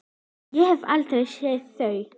Ég hef aldrei séð þau!